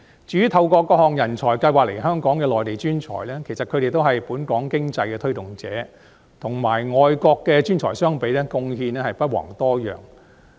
至於透過各項人才入境計劃來港的內地專才，其實他們都是本港經濟的推動者，與外國來港的專才相比，貢獻不遑多讓。